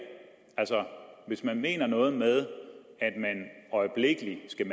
altså hvis man mener noget med at de øjeblikkelig skal